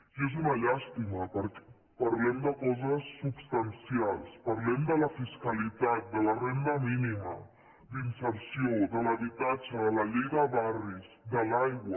i és una llàstima perquè parlem de coses substancials parlem de la fiscalitat de la renda mínima d’inserció de l’habitatge de la llei de barris de l’aigua